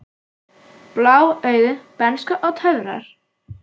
Blá augu, bernska og töfrar